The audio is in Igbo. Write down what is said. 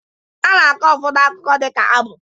A na-akọ ụfọdụ akụkọ dịka abụ